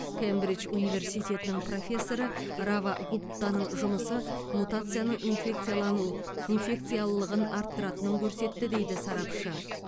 кембридж университетінің профессоры рава гуптаның жұмысы мутацияның инфекцияланыл инфекциялылығын арттыратынын көрсетті дейді сарапшы